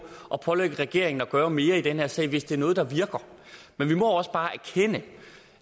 at pålægge regeringen at gøre mere i den her sag hvis det er noget der virker men vi må også bare erkende